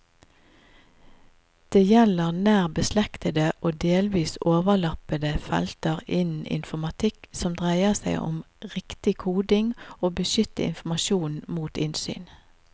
Det gjelder nær beslektede og delvis overlappende felter innen informatikk som dreier seg om riktig koding og å beskytte informasjon mot innsyn.